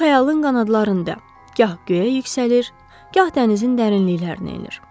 O xəyalın qanadlarında, gah göyə yüksəlir, gah dənizin dərinliklərinə enir.